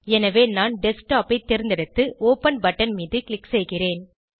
எனவே நான் டெஸ்க்டாப் ஐ தேர்ந்தெடுத்து ஒப்பன் பட்டன் மீது க்ளிக் செய்கிறேன்